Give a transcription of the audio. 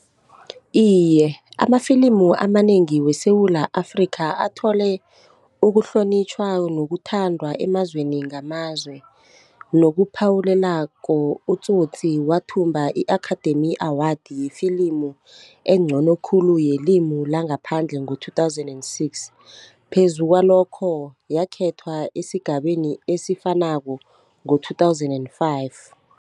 Iye, amafilimu amanengi weSewula Afrika athole ukuhlonitjhwa nokuthandwa emazweni ngamazwe, nokuphawulelako uTsotsi wathumba i-Academy award yefilimu engcono khulu yelimi langaphandle ngo-two thousand and six phezu kwalokho yakhethwa esigabeni esifanako ngo-two thousand and five.